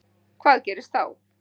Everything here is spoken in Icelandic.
Hvað gerist þá?